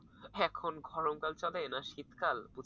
এখন গরমকাল চলে না শীতকাল?